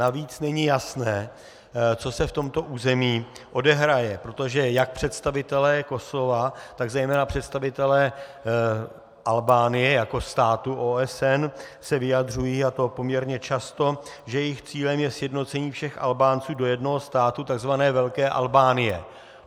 Navíc není jasné, co se v tomto území odehraje, protože jak představitelé Kosova, tak zejména představitelé Albánie jako státu OSN se vyjadřují, a to poměrně často, že jejich cílem je sjednocení všech Albánců do jednoho státu, takzvané Velké Albánie.